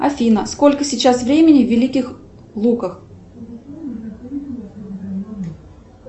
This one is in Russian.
афина сколько сейчас времени в великих луках